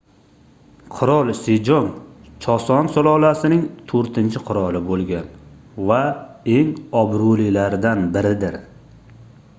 qirol sejong choson sulolasining toʻrtinchi qiroli boʻlgan va eng obroʻlilaridan biridir